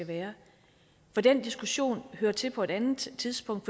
være for den diskussion hører til på et andet tidspunkt